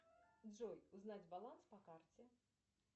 джой узнать баланс по карте